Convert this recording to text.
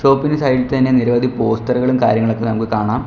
Shop ഇന് side ഇൽ തന്നെ നിരവധി പോസ്റ്ററുകളും കാര്യങ്ങളും ഒക്കെ നമുക്ക് കാണാം.